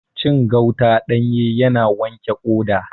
Cin gauta ɗanye yana wanke ƙoda